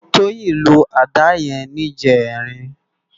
Toyin ló àdá yèn nijèrín